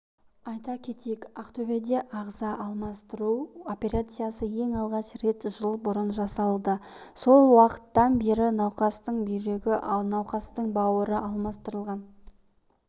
айта кетейік ақтөбеде ағза алмастыру операциясы ең алғаш рет жыл бұрын жасалды сол уақыттан бері науқастың бүйрегі науқастың бауыры алмастырылған